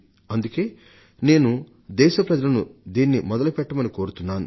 అందుకే నేను దేశ ప్రజలను దీనిని మొదలుపెట్టవలసిందిగా కోరుతున్నాను